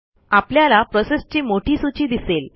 आपल्याला प्रोसेसची मोठी सूची दिसेल